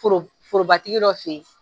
Foro forobatigi dɔ fe yen